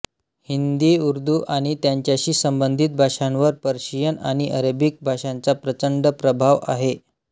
हिंदीउर्दू आणि त्याच्याशी संबंधित भाषांवर पर्शियन आणि अरेबिक भाषांचा प्रचंड प्रभाव आहे